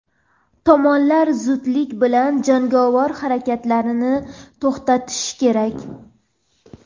tomonlar zudlik bilan jangovar harakatlarni to‘xtatishi kerak.